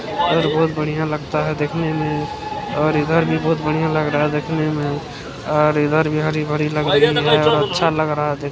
चित्र में हमें दो मेंम दिखाई दे रही हैं और कुछ छोटे से बच्चे हैं जो की निचे एक पंगटी पर बेठे हुवे हैं।